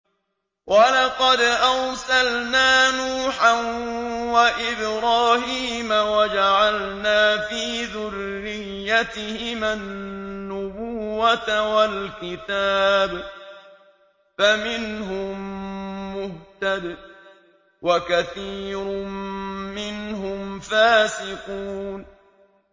وَلَقَدْ أَرْسَلْنَا نُوحًا وَإِبْرَاهِيمَ وَجَعَلْنَا فِي ذُرِّيَّتِهِمَا النُّبُوَّةَ وَالْكِتَابَ ۖ فَمِنْهُم مُّهْتَدٍ ۖ وَكَثِيرٌ مِّنْهُمْ فَاسِقُونَ